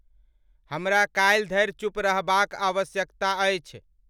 हमरा काल्हि धरि चुप रहबाक आवश्यकता अछि।